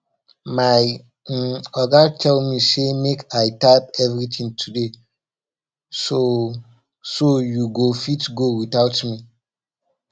my um oga tell me say make i type everything today so so you go fit go without me